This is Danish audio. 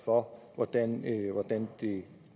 om